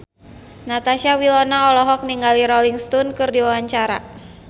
Natasha Wilona olohok ningali Rolling Stone keur diwawancara